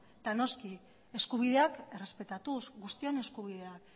eta noski eskubideak errespetatuz guztion eskubideak